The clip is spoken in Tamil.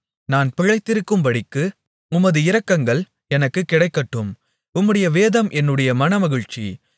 நான் பிழைத்திருக்கும்படிக்கு உமது இரக்கங்கள் எனக்குக் கிடைக்கட்டும் உம்முடைய வேதம் என்னுடைய மனமகிழ்ச்சி